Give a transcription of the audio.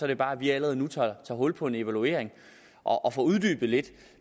det bare at vi allerede nu tager hul på en evaluering og får uddybet lidt